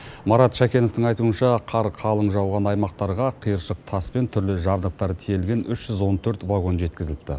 марат шәкеновтың айтуынша қар қалың жауған аймақтарға қиыршық тас пен түрлі жабдықтар тиелген үш жүз он төрт вагон жеткізіліпті